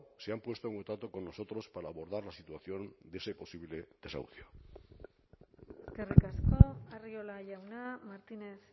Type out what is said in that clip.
se han puesto en contacto con nosotros para abordar la situación de ese posible desahucio eskerrik asko arriola jauna martínez